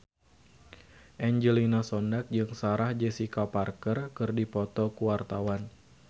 Angelina Sondakh jeung Sarah Jessica Parker keur dipoto ku wartawan